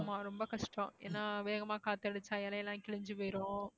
ஆமா ரொம்ப கஷ்டம் ஏன்னா வேகமா காத்து அடிச்சா இலை எல்லாம் கிழிஞ்சு போயிரும்